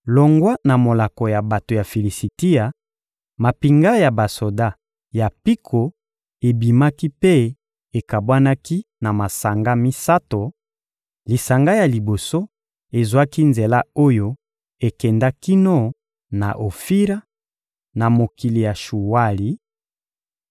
Longwa na molako ya bato ya Filisitia, mampinga ya basoda ya mpiko ebimaki mpe ekabwanaki na masanga misato: lisanga ya liboso ezwaki nzela oyo ekenda kino na Ofira, na mokili ya Shuwali;